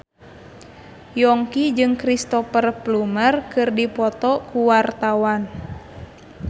Yongki jeung Cristhoper Plumer keur dipoto ku wartawan